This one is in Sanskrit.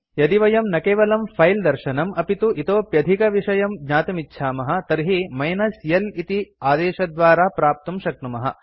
यदि वयं न केवलं फिले दर्शनम् अपि तु इतोप्यधिकविषयं ज्ञातुमिच्छामः तर्हि मिनस् l इति आदेशद्वारा प्राप्तुं शक्नुमः